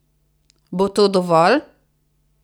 Bo to dovolj?